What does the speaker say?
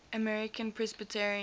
american presbyterians